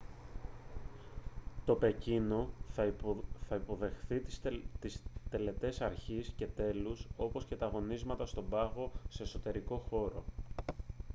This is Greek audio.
το πεκίνο θα υποδεχθεί τις τελετές αρχής και τέλους όπως και τα αγωνίσματα στον πάγο σε εσωτερικό χώρο